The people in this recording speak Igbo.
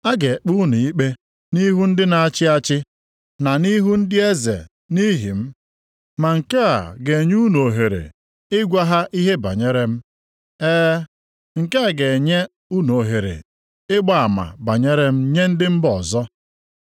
A ga-ekpe unu ikpe nʼihu ndị na-achị achị na nʼihu ndị eze nʼihi m. Ma nke a ga-enye unu ohere ịgwa ha ihe banyere m. E, nke a ga-enye unu ohere ịgba ama banyere m nye ndị mba ọzọ.